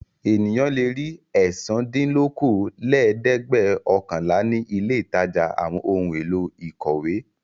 Ènìyàn le ri ẹ̀sándínlókòólẹ́ẹ̀dẹ́gbẹ́ọ̀kànlá ní ilé-ìtajà àwọn ohun-èlò ìkọ̀wé.